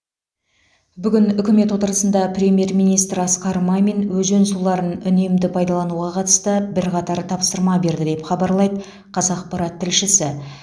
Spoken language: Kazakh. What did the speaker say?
бүгін үкімет отырысында премьер министр асқар мамин өзен суларын үнемді пайдалануға қатысты бірқатар тапсырма берді деп хабарлайды қазақпарат тілшісі